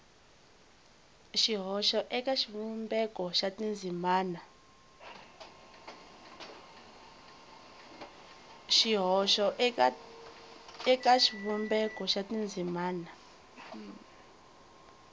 xihoxo eka xivumbeko xa tindzimana